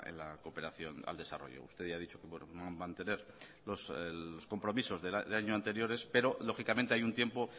la cooperación al desarrollo usted ya ha dicho que pues mantener los compromisos de años anteriores pero lógicamente hay un tiempo